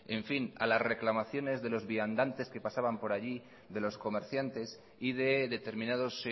en fin a las reclamaciones de los viandantes que pasaban por allí de los comerciantes y de determinados